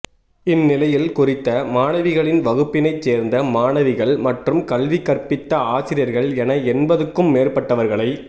இந்நிலையில் குறித்த மாணவிகளின் வகுப்பினைச் சேர்ந்த மாணவிகள் மற்றும் கல்விகற்பித்த ஆசிரியர்கள் என எண்பதுக்கும் மேற்பட்டவர்களை